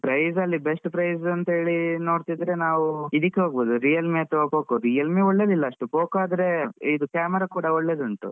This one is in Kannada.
Price ಅಲ್ಲಿ best price. ಅಂತೇಳಿ ನೋಡ್ತಿದ್ರೆ ನಾವು Realme ಮತ್ತೆ Poco , Realme ಒಳ್ಳೆದ್ ಇಲ್ಲ ಅಷ್ಟ್ Poco ಆದ್ರೆ ಇದ್ camera ಕೂಡ ಒಳ್ಳೆ ಉಂಟು.